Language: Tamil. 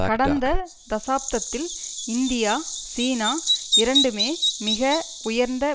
கடந்த தசாப்தத்தில் இந்தியா சீனா இரண்டுமே மிக உயர்ந்த